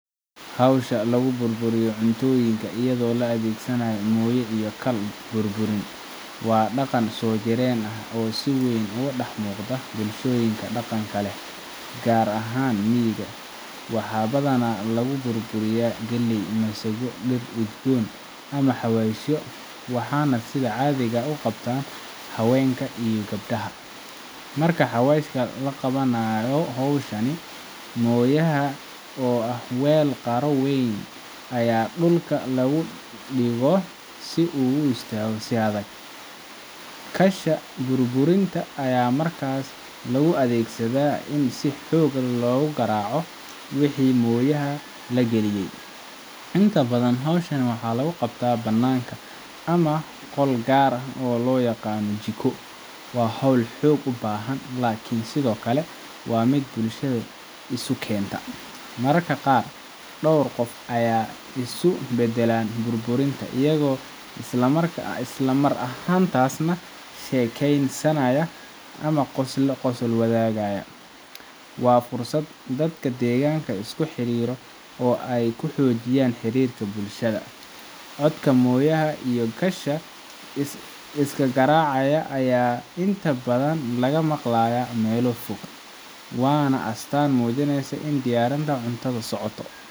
Hawsha lagu burburiyo cuntooyinka iyadoo la adeegsanayo mooye iyo kal burburin waa dhaqan soo jireen ah oo si weyn uga dhex muuqda bulshooyinka dhaqanka leh, gaar ahaan miyiga. Waxaa badanaa lagu burburiyaa galley, masago, dhir udgoon, ama xawaashyo, waxaana sida caadiga ah u qabta haweenka iyo gabdhaha. Marka hawshan la qabanayo, mooyaha oo ah weel qaro weyn ayaa dhulka lagu dhigo si uu u istaago si adag. kalsha burburinta ayaa markaas loo adeegsadaa in si xoog ah loogu garaaco wixii mooyaha la geliyey. Inta badan, hawshan waxaa lagu qabtaa bannaanka ama qol gaar ah oo loo yaqaan jiko. Waa hawl xoog u baahan, laakiin sidoo kale waa mid bulshada isu keenta. Mararka qaar, dhowr qof ayaa isku bedbeddela burburinta, iyagoo isla mar ahaantaasna sheekeysanaya ama qosol wadaagaya. Waa fursad dadka deegaanka iskula xiriiro oo ay ku xoojiyaan xiriirka bulshada. Codka mooyaha iyo kalsha isgaraacaya ayaa inta badan laga maqlayaa meelo fog, waana astaan muujinaysa in diyaarinta cuntada socoto